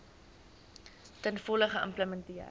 ten volle geïmplementeer